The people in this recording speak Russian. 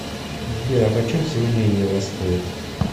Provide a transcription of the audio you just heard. сбер а почем сегодня евро стоит